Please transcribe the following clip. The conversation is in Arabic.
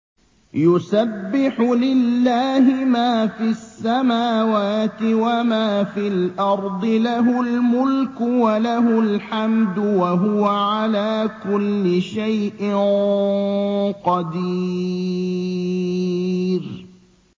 يُسَبِّحُ لِلَّهِ مَا فِي السَّمَاوَاتِ وَمَا فِي الْأَرْضِ ۖ لَهُ الْمُلْكُ وَلَهُ الْحَمْدُ ۖ وَهُوَ عَلَىٰ كُلِّ شَيْءٍ قَدِيرٌ